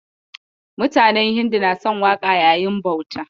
Mutanen Hindu na son waƙa yayin bauta